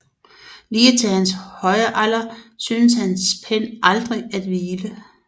Lige til hans høje alder syntes hans pen aldrig at hvile